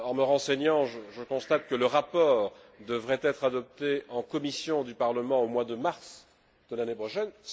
Renseignement pris, je constate que le rapport devrait être adopté en commission du Parlement au mois de mars de l'année prochaine.